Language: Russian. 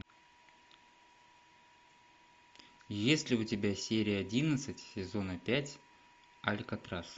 есть ли у тебя серия одиннадцать сезона пять алькатрас